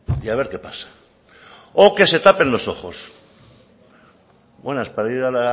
y a ver qué pasa o que se tapen los ojos buenas para ir a